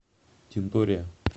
тинтория